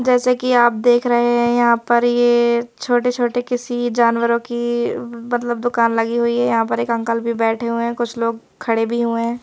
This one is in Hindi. जैसे कि आप देख रहे हैं यहाँ पर ये छोटे-छोटे किसी जानवरों की मतलब दुकान लगी हुई हैं यहाँ पर एक अंकल भी बैठे हुए हैं कुछ लोग खड़े भी हुए हैं।